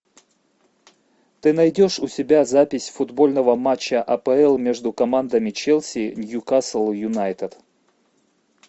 ты найдешь у себя запись футбольного матча апл между командами челси ньюкасл юнайтед